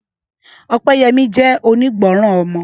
Ọpẹ́yẹmí jẹ́ onígbọràn ọmọ